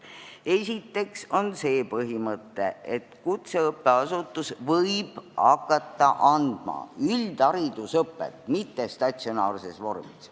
Esiteks on see põhimõte, et kutseõppeasutus võib hakata andma üldharidusõpet mittestatsionaarses vormis.